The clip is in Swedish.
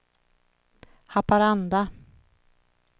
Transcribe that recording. Haparanda